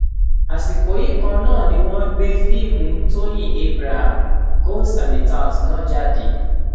àsìkò yìí kan náání wọn gbé fíìmù tọyìn abraham ghost and the tout náà jáde